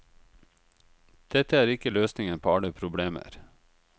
Dette er ikke løsningen på alle problemer.